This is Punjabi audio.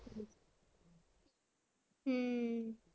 ਹਮ